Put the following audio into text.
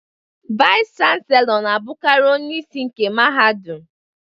Vaiz Chanselọ na-abụkarị onyeisi nke mahadum.